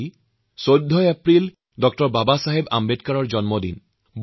মোৰ শ্ৰ্দ্বাৰ দেশবাসী ১৪ এপ্ৰিলত ড0 বাবাছাহেব আম্বেদকৰৰ জন্মজয়ন্তী